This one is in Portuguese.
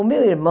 O meu irmão...